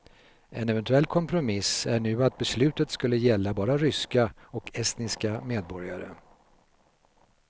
En eventuell kompromiss är nu att beslutet skulle gälla bara ryska och estniska medborgare.